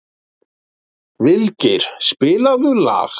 Vilgeir, spilaðu lag.